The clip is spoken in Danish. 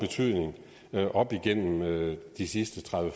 jeg at op igennem de sidste tredive